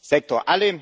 Sektor.